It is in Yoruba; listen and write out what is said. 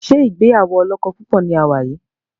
ṣe ìgbéyàwó olókó púpò ní a wá yí?